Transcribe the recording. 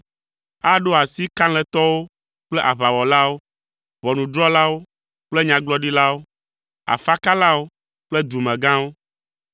Aɖo asi eƒe kalẽtɔwo kple aʋawɔlawo, ʋɔnudrɔ̃lawo kple nyagblɔɖilawo, afakalawo kple dumegãwo,